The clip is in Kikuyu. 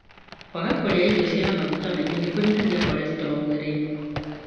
Kwaga kũrĩairio ciĩna maguta maingĩ nĩ kũnyihagia cholestrol mwĩrĩini.